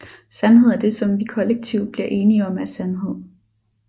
Sandhed er det som vi kollektivt bliver enige om er sandhed